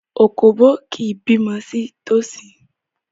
Òkóbó kì í bímọ sí tòsí.